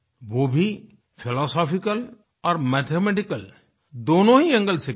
वो भी फिलॉसॉफिकल और मैथमेटिकल दोनों ही एंगल से की है